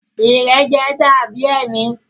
Ìrẹjẹ da bi ẹmi.